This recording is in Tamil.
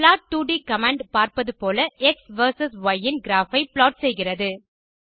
plot2ட் கமாண்ட் பார்ப்பது போல எக்ஸ் வெர்சஸ் ய் ன் கிராப் ஐ ப்ளாட் செய்கிறது